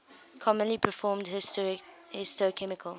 commonly performed histochemical